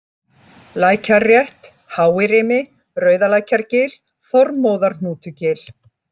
Lækjarrétt, Hái-Rimi, Rauðalækjargil, Þormóðarhnútugil